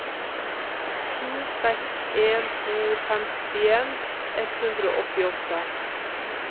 sju seks en to femtien ett hundre og åttiåtte